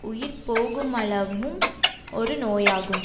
உயிர் போகுமளவும் ஒரு நோயாகும்